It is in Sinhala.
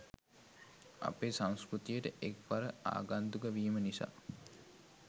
අපේ සංස්කෘතියට එක් වර ආගන්තුක වීම නිසා